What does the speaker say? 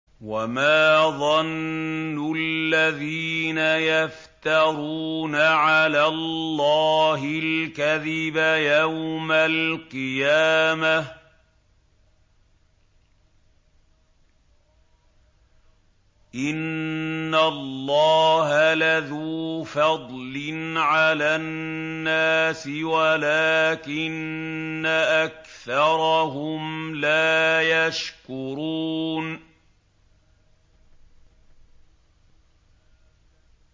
وَمَا ظَنُّ الَّذِينَ يَفْتَرُونَ عَلَى اللَّهِ الْكَذِبَ يَوْمَ الْقِيَامَةِ ۗ إِنَّ اللَّهَ لَذُو فَضْلٍ عَلَى النَّاسِ وَلَٰكِنَّ أَكْثَرَهُمْ لَا يَشْكُرُونَ